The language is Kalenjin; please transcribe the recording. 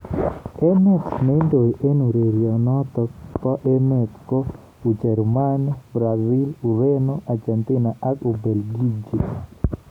Emet neindoi eng urerionotok bo emet ko Ujerumani, Brazil, Ureno, Argentina ak Ubelgiji.